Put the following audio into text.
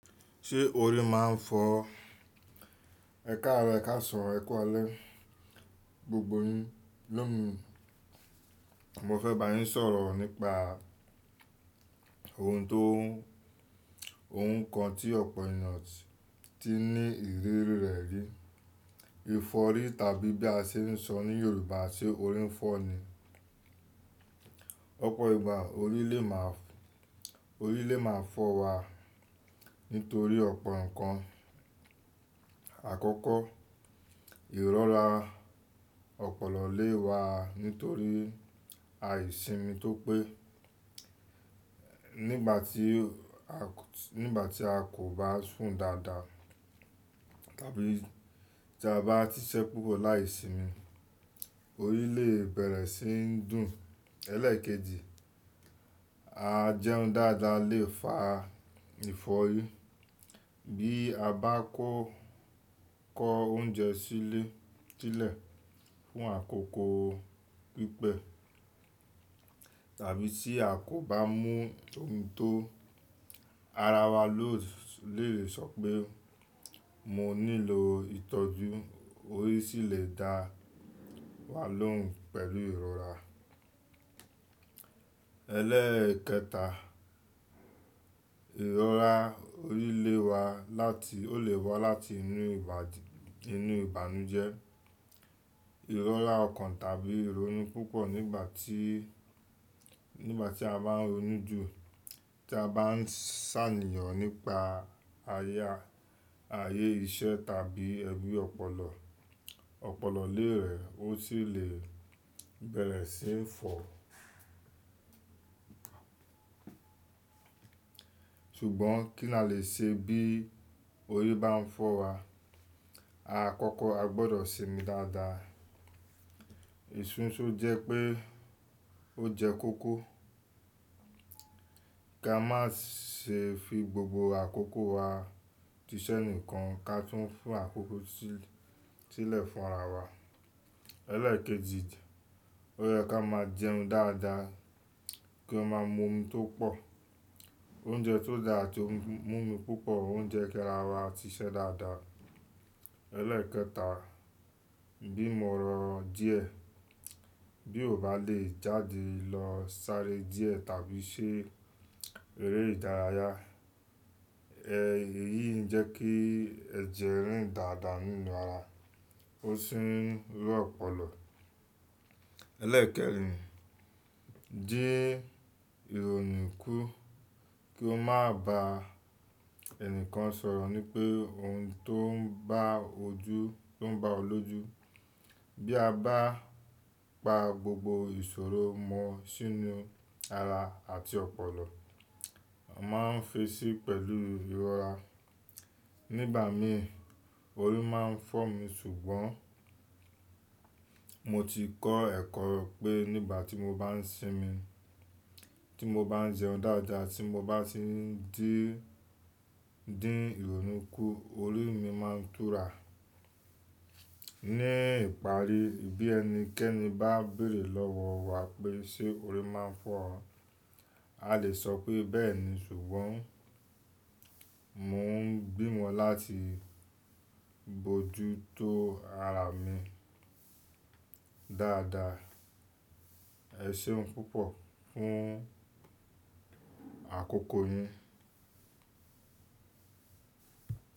Ṣé orí máa ń fọ́? Ẹkaro, ẹ̀kasan, ẹ̀ku alẹ́. Gbogbo yín ló mi, mo fẹ́ bá yín sọ̀rọ̀ nípa ohun tó ohun kan tí ọ̀pọ̀ ènìyàn ti ní ìrírí rẹ̀ rí. Ìfọ́rí tàbí bí a ṣe ń sọ ní Yorùbá ṣe orí ń fọ́ ni. Ọ̀pọ̀ ìgbà orí lè máa fọ̀ orí lè máa fọ́ wa nítorí ọ̀pọ̀ nǹkan. Àkọ́kọ́, ìrọ́ra ọpọlọ lè wa nítorí àìsimi tó pé nígbà tí a nígbà tí a kò bá sùn dáadáa tàbí tí a bá ti ṣẹ́ púpọ̀ láìsimi orí lè bẹ̀rẹ̀ sí ní dùn. Ẹlẹ́ẹ̀kejì, a jẹun dáadáa lè fa ìfọ́rí bí a bá kó kó oúnjẹ sílé sílẹ̀ fún àkókò pípẹ́ tàbí tí a kò bá mú omi tó ara wa lò lè sọ pé mo nílò ìtọ́jú orí sì lè dá wa lóhùn pẹ̀lú ìrọ́ra. Ẹlẹ́ẹ̀kẹta, ìrọ́ra orí lè wa láti ó lè wá láti inú inú ìbànújẹ́. Ìrọ́ra ọkàn tàbí ìrònú púpọ̀ nígbà tí nígbà tí a bá ń ronú jù tí a bá ń ṣàníyàn nípa ayé ayé iṣẹ́ tàbí ẹbí ọpọlọ, ọpọlọ lè rẹ̀ ó sì lè bẹ̀rẹ̀ sí ní fọ̀. Ṣùgbọ́n kí ni a lè ṣe bí orí bá ń fọ́ wa? Àkọ́kọ́ a gbọdọ̀ sinmi dáadáa. Ẹ̀sùn ṣó jẹ́ pé ó jẹ́ kóko. Kí a má ṣe fi gbogbo àkókò wa ti iṣẹ́ nìkan ká túń fún àkókò sílẹ̀ fún ara wa. Ẹlẹ́ẹ̀kejì, ó yẹ kí á máa jẹun dáadáa kí ó máa mú omi tó pọ̀. Oúnjẹ tó da àti mú omi púpọ̀ ó ń jẹ́ kí ara wa ti iṣẹ́ dáadáa. Ẹlẹ́ẹ̀kẹta, bí mo rọ̀ díẹ̀ bí kò bá lè jáde lọ sáré díẹ̀ tàbí ṣe eré ìdárayá, èyí ń jẹ́ kí ẹ̀jẹ̀ rìn dáadáa nínú ara ó sì ń rú ọpọlọ. Ẹlẹ́ẹ̀kẹrin, jí ìrònú kù kí ó má bá ẹnikẹ́ni sọ̀rọ̀ ní pé ohun tó ń bá ojú tó ń bá ọ lóju. Bí a bá pa gbogbo ìṣòro mọ́ sínú ara àti ọpọlọ, a máa ń fẹṣí pẹ̀lú ìrọ́ra. Nígbà mí orí máa ń fọ́ mi ṣùgbọ́n mo ti kọ́ ẹ̀kọ́ pé nígbà tí mo bá ń sinmi tí mo bá ń jẹun dáadáa tí mo bá ti ń dín dín ìrònú kù orí mi máa túra. Ní ìparí bí ẹnikẹ́ni bá béèrè lọ́wọ́ wa pé ṣe orí máa ń fọ́ ọ? A lè sọ pé bẹ́ẹ̀ni ṣùgbọ́n mò ń bí wọn láti bojútó ara mi dáadáa. Ẹ ṣéun púpọ̀ fún àkókò yín.